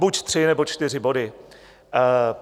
Buď tři, nebo čtyři body.